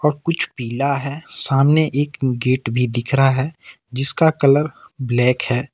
कुछ पिला है सामने एक गेट भी दिख रहा है जिसका कलर ब्लैक है।